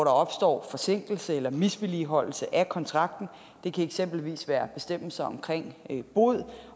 opstår forsinkelse eller misligholdelse af kontrakten den kan eksempelvis være bestemmelser omkring bod